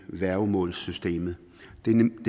værgemålsloven